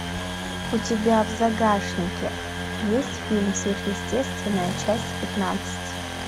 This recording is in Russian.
у тебя в загашнике есть фильм сверхъестественное часть пятнадцать